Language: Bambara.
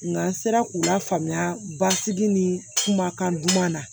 Nga n sera k'u lafaamuya basigi ni kumakan duman na